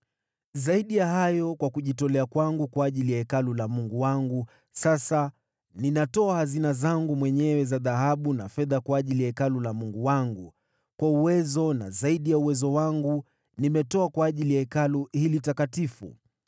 Zaidi ya hayo, kwa kujitolea kwangu kwa ajili ya Hekalu la Mungu wangu, sasa ninatoa hazina zangu mwenyewe za dhahabu na fedha kwa ajili ya Hekalu la Mungu wangu, zaidi ya mali niliyotoa kwa ajili ya Hekalu hili takatifu: